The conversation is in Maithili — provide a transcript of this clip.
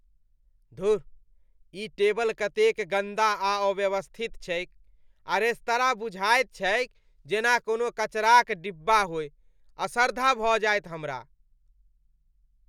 धुर! ई टेबल कतेक गन्दा आ अव्यवस्थित छैक आ रेस्तरां बुझाइत छैक जेना कोनो कचराक डिब्बा होइ, असर्धा भऽ जायत हमरा।